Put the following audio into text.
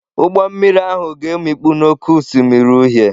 Ụgbọ mmiri ahụ ga-emikpu n'Oké Osimiri Uhie.